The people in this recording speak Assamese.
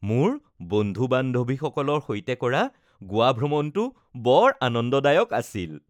মোৰ বন্ধু-বান্ধৱীসকলৰ সৈতে কৰা গোৱা ভ্ৰমণটো বৰ আনন্দদায়ক আছিল